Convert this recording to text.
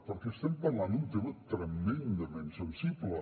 perquè estem parlant d’un tema tremendament sensible